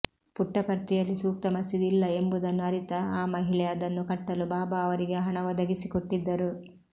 ಪುಟ್ಟಪರ್ತಿಯಲ್ಲಿ ಸೂಕ್ತ ಮಸೀದಿ ಇಲ್ಲ ಎಂಬುದನ್ನು ಅರಿತ ಆ ಮಹಿಳೆ ಅದನ್ನು ಕಟ್ಟಲು ಬಾಬಾ ಅವರಿಗೆ ಹಣ ಒದಗಿಸಿಕೊಟ್ಟಿದ್ದರು